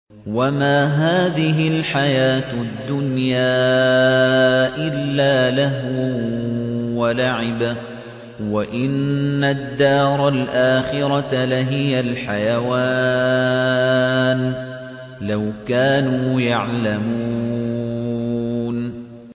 وَمَا هَٰذِهِ الْحَيَاةُ الدُّنْيَا إِلَّا لَهْوٌ وَلَعِبٌ ۚ وَإِنَّ الدَّارَ الْآخِرَةَ لَهِيَ الْحَيَوَانُ ۚ لَوْ كَانُوا يَعْلَمُونَ